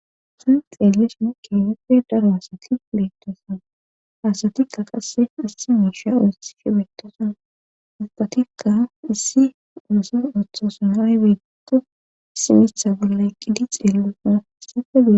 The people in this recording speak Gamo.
tan xeellishine keheppe daro asati beittesan haasatikka qasse asse miisha ooti she betosan ubbatikka issi uosse ooththosunaaybeeto simitha bolle eqqidi xeellosana sakedi